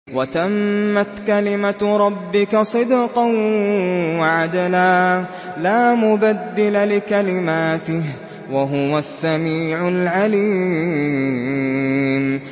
وَتَمَّتْ كَلِمَتُ رَبِّكَ صِدْقًا وَعَدْلًا ۚ لَّا مُبَدِّلَ لِكَلِمَاتِهِ ۚ وَهُوَ السَّمِيعُ الْعَلِيمُ